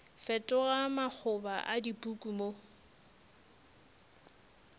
fetoga makgoba a dipuku mo